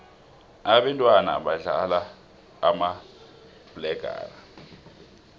abentwana badlala umabhaqelana